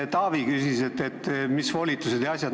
Taavi küsis siin volituste jms asjade kohta.